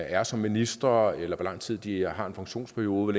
er som ministre eller hvor lang tid de har en funktionsperiode